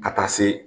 Ka taa se